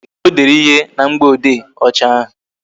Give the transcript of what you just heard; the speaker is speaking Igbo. O dere ihe na mgboede ọcha ahụ